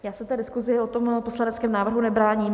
Já se té diskusi o tom poslaneckém návrhu nebráním.